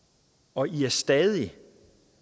og i er stadig